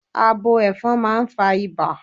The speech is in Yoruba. Abo Ẹ̀fọn máa fà ibà